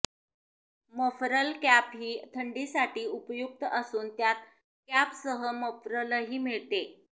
muffler cap ही थंडीसाठी उपयुक्त असून त्यात कॅपसह मफलरही मिळते